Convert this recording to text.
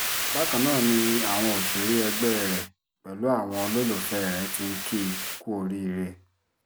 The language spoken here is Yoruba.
bákan ná ni àwọn òṣèré ẹgbẹ́ rẹ̀ pẹ̀lú àwọn olólùfẹ́ rẹ̀ ti ń kì í kú oríire